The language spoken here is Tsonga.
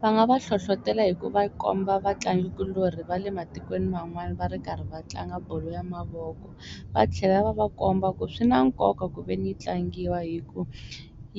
Va nga va hlohlotela hi ku va komba vatlangi kulorhi va le matikweni man'wani va ri karhi va tlanga bolo ya mavoko va tlhela va va komba ku swi na nkoka kuveni yi tlangiwa hi ku